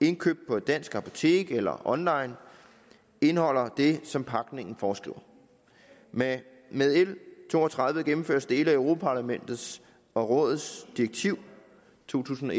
indkøbt på et dansk apotek eller online indeholder det som pakningen foreskriver med med l to og tredive gennemføres dele af europa parlamentets og rådets direktiv to tusind og